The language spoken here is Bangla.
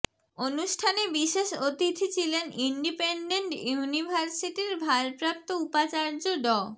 অনুষ্ঠানে বিশেষ অতিথি ছিলেন ইনডিপেনডেন্ট ইউনিভার্সিটির ভারপ্রাপ্ত উপাচার্য ড